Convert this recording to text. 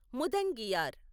ముదంగియార్